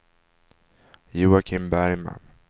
Joakim Bergman